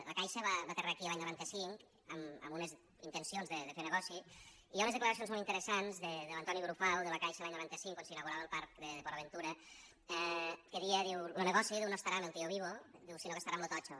la caixa va aterrar aquí l’any noranta cinc amb unes intencions de fer negoci i hi ha unes declaracions molt interessants d’antoni brufau de la caixa l’any noranta cinc quan s’inaugurava el parc de port aventura que deia lo negoci no estarà en el tiovivo sinó que estarà en lo totxo